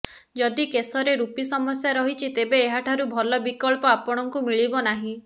ଯଦି କେଶରେ ରୁପି ସମସ୍ୟା ରହିଛି ତେବେ ଏହାଠାରୁ ଭଲ ବିକଳ୍ପ ଆପଣଙ୍କୁ ମିଳିବ ନାହିଁ